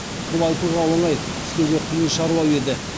бұл айтуға оңай істеуге қиын шаруа еді